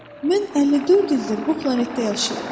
Mən 54 ildir bu planetdə yaşayıram.